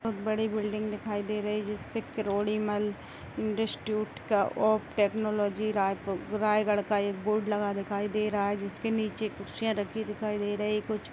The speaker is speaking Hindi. बोहोत बड़ी बिल्डिंग दिखाई दे रही है जिसपे Krodimal institute of technology Raipur Raigarh का ये बोर्ड लगा दिखाई दे रहा है जिसके नीचे कुर्सीयाँ रखी हुई दिखाई दे रही कुछ --